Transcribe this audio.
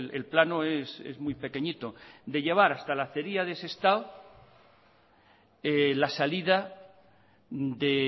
el plano es muy pequeñito de llevar hasta la acería de sestao la salida de